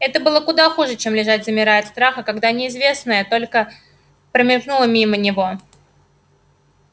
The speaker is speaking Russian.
это было куда хуже чем лежать замирая от страха когда неизвестное только промелькнуло мимо него